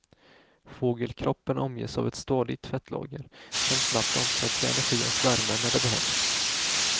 Fågelkroppen omges av ett stadigt fettlager som snabbt omsätts i energi och värme när det behövs.